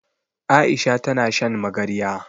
Aisha ta na shan magarya.